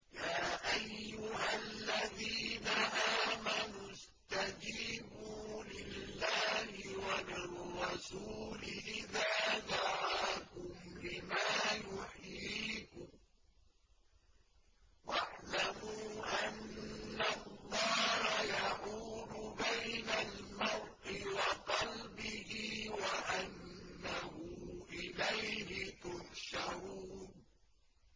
يَا أَيُّهَا الَّذِينَ آمَنُوا اسْتَجِيبُوا لِلَّهِ وَلِلرَّسُولِ إِذَا دَعَاكُمْ لِمَا يُحْيِيكُمْ ۖ وَاعْلَمُوا أَنَّ اللَّهَ يَحُولُ بَيْنَ الْمَرْءِ وَقَلْبِهِ وَأَنَّهُ إِلَيْهِ تُحْشَرُونَ